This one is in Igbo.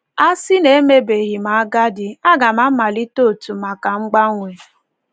“ A sị na emebeghị m agadi ,a ga m amalite òtù maka mgbanwe! ”